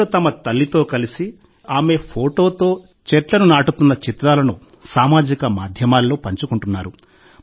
ప్రజలు తమ తల్లితో కలిసి లేదా ఆమె ఫోటోతో చెట్లను నాటుతున్న చిత్రాలను సామాజిక మాధ్యమాల్లో పంచుకుంటున్నారు